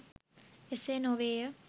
එසේනොවේය.